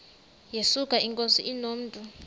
yesuka inkosi inomntu